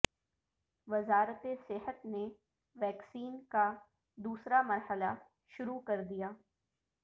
وزارت صحت نے ویکسین کا دوسرا مرحلہ شروع کردیا